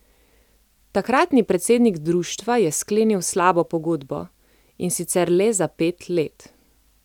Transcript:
Takratni predsednik društva je sklenil slabo pogodbo, in sicer le za pet let.